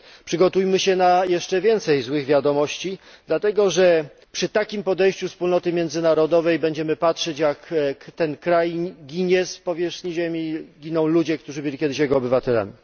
Przygotujmy się na jeszcze więcej złych wiadomości, dlatego że przy takim podejściu wspólnoty międzynarodowej będziemy patrzeć, jak ten kraj znika z powierzchni ziemi i giną ludzie, którzy byli kiedyś jego obywatelami.